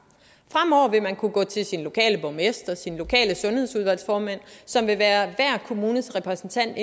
fremover vil man kunne gå til sin lokale borgmester sin lokale sundheds en udvalgsformand som vil være hver kommunes repræsentant